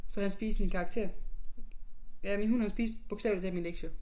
Så han spiste min karakter. Ja min hund han spiste bogstavelig talt mine lektier